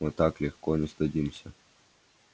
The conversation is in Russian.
мы так легко не сдадимся